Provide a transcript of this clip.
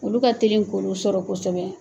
Olu ka teli k'olu sɔrɔ kosɛbɛ.